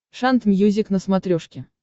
шант мьюзик на смотрешке